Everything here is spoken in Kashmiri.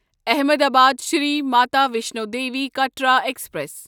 احمدآباد شری ماتا ویشنو دیٖوی کٹرا ایکسپریس